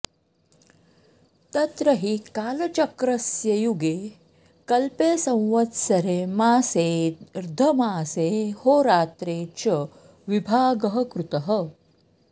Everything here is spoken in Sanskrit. तत्र हि कालचक्रस्य युगे कल्पे संवत्सरे मासेऽर्द्धमासेऽहोरात्रे च विभागः कृतः